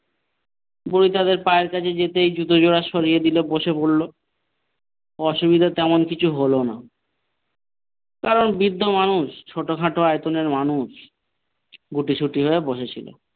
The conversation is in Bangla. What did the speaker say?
বুড়ি তাদের পায়ের কাছে যেতেই জুতোজোড়া সরিয়ে দিল বসে পড়ল অসুবিধা তেমন কিছু হল না কারণ বৃদ্ধ মানুষ ছোটখাটো আয়তনের মানুষ গুটিসুটি হয়ে বসেছিল।